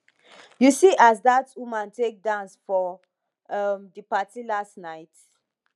you see as dat woman take dance for um di party last night